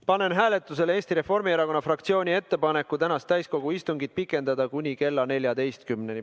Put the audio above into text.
Panen hääletusele Eesti Reformierakonna fraktsiooni ettepaneku tänast täiskogu istungit pikendada kuni kella 14-ni.